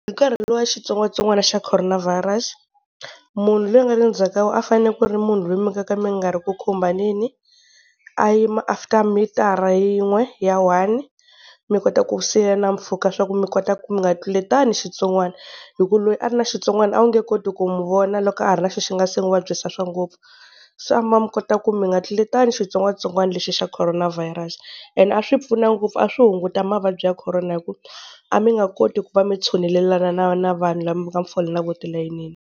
Hi nkarhi luwa wa xitsongwatsongwana xa Corona Virus, munhu loyi a nga le ndzhaku a fanele ku ri munhu loyi mi nga ka mi nga ri ku khumbaneni, a yima after mitara yin'we ya one mi kota ku siyana mpfhuka swa ku mi kota mi nga tluletani xitsongwana, hi ku loyi a ri na xitsongwana a wu nge koti ku n'wi vona loko a ha ri na xi nga se nga n'wi vabyisa swa ngopfu. Se a mi va mi kota ku mi nga tluletani xitsongwatsongwana lexi xa Corona Virus. And a swi pfuna ngopfu a swi hunguta mavabyi ya Corona hi ku a mi nga koti ku va mi tshunelela na na na vanhu lava mi va ka mi fole na vona tilayinini.